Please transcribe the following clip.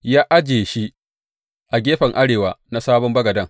Ya ajiye shi a gefen arewa na sabon bagaden.